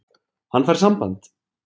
Hann fær samband.